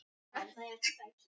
Jón átti fimm bræður.